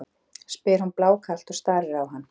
spyr hún blákalt og starir á hann.